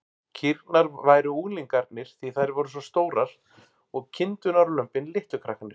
Kýrnar væru unglingarnir, því þær væru svo stórar, og kindurnar og lömbin litlu krakkarnir.